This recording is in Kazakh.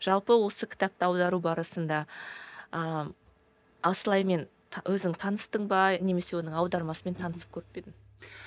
жалпы осы кітапты аудару барысында ы асылаймен өзің таныстың ба немесе оның аудармасымен танысып көріп пе едің